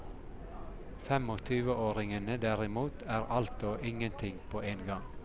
Femogtyveåringene derimot er alt og ingenting på en gang.